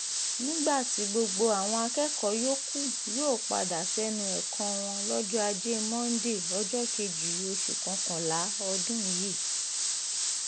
nígbà tí gbogbo àwọn akẹ́kọ̀ọ́ yòókù yóò padà sẹ́nu ẹ̀kọ́ wọn lọ́jọ́ ajé monde ọjọ́ kejì oṣù kọkànlá ọdún yìí